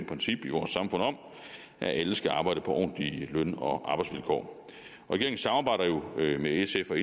princip i vores samfund om at alle skal arbejde på ordentlige løn og arbejdsvilkår regeringen samarbejder jo med sf og